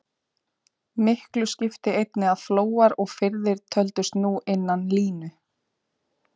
Miklu skipti einnig að flóar og firðir töldust nú innan línu.